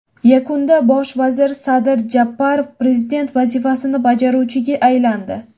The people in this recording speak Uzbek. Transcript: Yakunda bosh vazir Sadir Japarov prezident vazifasini bajaruvchiga aylandi .